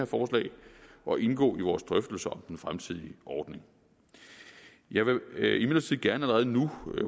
forslag og indgå i vores drøftelser om den fremtidige ordning jeg vil imidlertid gerne allerede nu